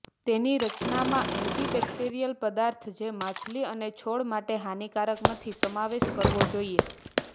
તેની રચના માં એન્ટીબેક્ટેરિયલ પદાર્થો જે માછલી અને છોડ માટે હાનિકારક નથી સમાવેશ કરવો જોઇએ